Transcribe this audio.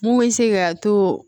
Mun bɛ se ka to